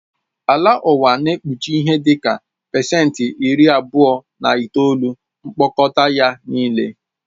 Ala ụwa na-ekpuchi ihe dị ka pasenti iri abụọ na itoolu mkpọkọta ya nịle